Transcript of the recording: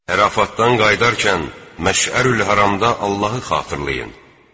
Ərafatdan qayıdarkən Məşərül-Həramda Allahı xatırlayın.